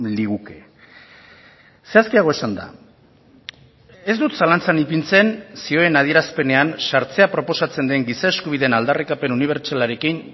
liguke zehazkiago esanda ez dut zalantzan ipintzen zioen adierazpenean sartzea proposatzen den giza eskubideen aldarrikapen unibertsalarekin